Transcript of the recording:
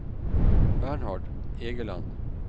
Bernhard Egeland